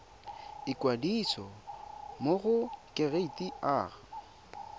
ikwadisa mo go kereite r